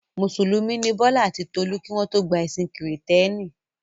Mùsùlùmí ni Bọ́lá àti Tolú kí wọ́n tó gba ẹ̀sìn Kìrìtẹ́ẹ́nì.